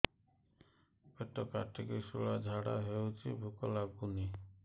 ପେଟ କାଟିକି ଶୂଳା ଝାଡ଼ା ହଉଚି ଭୁକ ଲାଗୁନି